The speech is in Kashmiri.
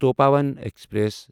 تپووَن ایکسپریس